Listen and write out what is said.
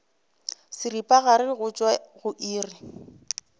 seripagare go tšwa go iri